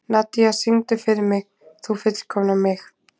Nadia, syngdu fyrir mig „Þú fullkomnar mig“.